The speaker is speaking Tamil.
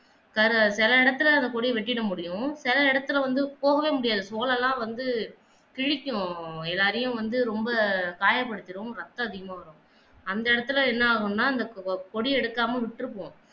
சில சில இடத்துல அந்த கொடிய வெட்டிட முடியும் சில இடத்துல போகவே முடியாது தோலெல்லாம் வந்து கிளிக்கும் எல்லாரையும் வந்து ரொம்ப காயப்படுத்திடும் ரத்தம் அதிகமாக வரும் அந்த இடத்துல என்ன ஆகும்னா அந்த கோ கொடிய எடுக்காம விட்டுட்டுபோம்